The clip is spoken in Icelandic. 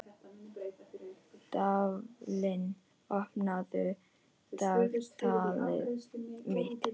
Dvalinn, opnaðu dagatalið mitt.